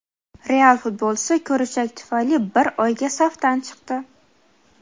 "Real" futbolchisi ko‘richak tufayli bir oyga safdan chiqdi.